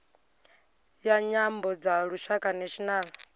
ya nyambo dza lushaka national